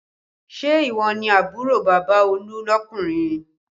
Ṣé ìwọ ni àbúrò bàbá Olú lọkunrin?